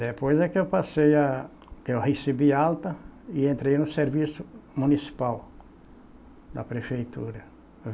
Depois é que eu passei a... que eu recebi alta e entrei no serviço municipal da prefeitura.